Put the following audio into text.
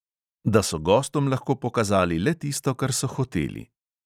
Da so gostom lahko pokazali le tisto, kar so hoteli.